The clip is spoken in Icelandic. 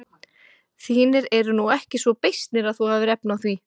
Þínir eru nú ekki svo beysnir að þú hafir efni á því.